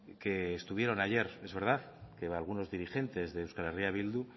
que estuvieron ayer es verdad que algunos dirigentes de euskal herria bildu